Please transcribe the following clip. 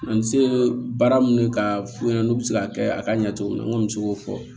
An bɛ se baara mun ka f'u ɲɛna n'u bɛ se k'a kɛ a ka ɲɛ cogo min na n kɔni bɛ se k'o fɔ